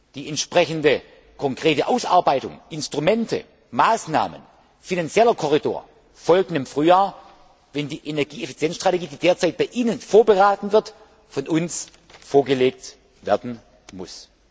Die entsprechende konkrete Ausarbeitung, die Instrumente, die Maßnahmen, der finanzielle Korridor folgen im Frühjahr, wenn die Energieeffizienzstrategie, die derzeit bei Ihnen beraten wird, von uns vorgelegt werden muss.